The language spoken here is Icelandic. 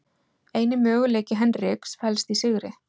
Eini möguleiki Henriks felst í sigri